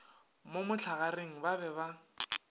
mo mohlagareng ba be ba